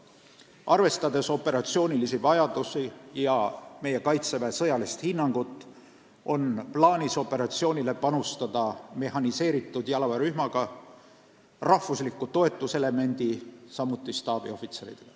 Arvestades operatsioonilisi vajadusi ja meie Kaitseväe sõjalist hinnangut, on plaanis operatsioonile saata mehhaniseeritud jalaväerühm, rahvuslik toetuselement ja staabiohvitserid.